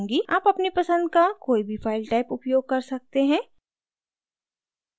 आप अपनी पसंद का कोई भी file type उपयोग कर सकते हैं